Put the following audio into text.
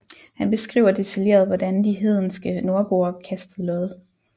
Han beskriver detaljeret hvordan de hedenske nordboer kastede lod